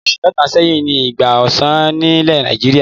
Oṣù mẹ́ta sẹ́yìn ni ìgbà ọsàn nílẹ̀ Nàìjíríà.